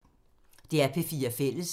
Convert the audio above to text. DR P4 Fælles